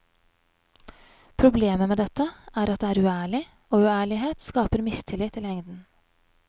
Problemet med dette er at det er uærlig, og uærlighet skaper mistillit i lengden.